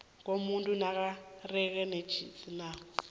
komuntu nekareko netjisakalo